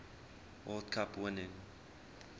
world cup winning